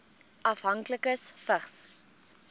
afhanklikes vigs